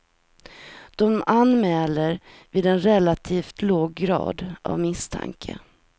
De anmäler vid en relativt låg grad av misstanke.